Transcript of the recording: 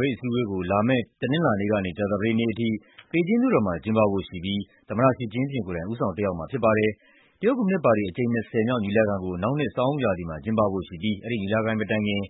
ပိတ်အစည်းအဝေးကို လာမယ့် တနင်္လာနေ့ကနေ ကြာသပတေးနေ့အထိ ဘေဂျင်းမြို့တော်မှာ ကျင်းပဖို့ရှိပြီး သမ္မတ Xi Jinping ကိုယ်တိုင် ဦးဆောင်တက်ရောက်မှာ ဖြစ်ပါတယ်။ တရုတ်ကွန်မြူနစ်ပါတီ အကြိမ် ၂၀ မြောက် ညီလာခံကို နောက်နှစ် ဆောင်းဦးရာသီမှာ ကျင်းပဖို့ရှိပြီး အဲဒီညီလာခံ မတိုင်ခင်မှာ